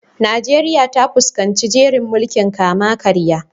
Najeriya ta fuskanci jerin mulkin kama-karya.